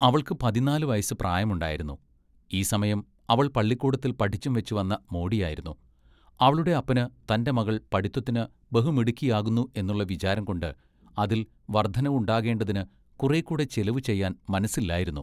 അവൾക്ക് പതിന്നാല് വയസ്സ് പ്രായമുണ്ടായിരുന്നു ഈ സമയം അവൾ പള്ളിക്കൂടത്തിൽ പഠിച്ചും വെച്ച് വന്ന മോടിയായിരുന്നു അവളുടെ അപ്പന് തന്റെ മകൾ പഠിത്വത്തിന് ബഹു മിടുക്കിയാകുന്നു എന്നുള്ള വിചാരം കൊണ്ട് അതിൽ വർദ്ധനവ് ഉണ്ടാകേണ്ടതിന് കുറെ കൂടെ ചിലവ് ചെയ്‌വാൻ മനസ്സില്ലായിരുന്നു.